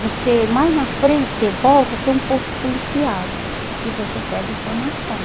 Você, mais na frente, você volta, tem um posto policial e você pede informação.